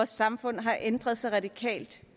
samfund har ændret sig radikalt